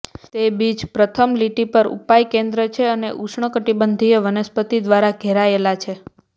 તે બીચ પ્રથમ લીટી પર ઉપાય કેન્દ્ર છે અને ઉષ્ણકટિબંધીય વનસ્પતિ દ્વારા ઘેરાયેલા છે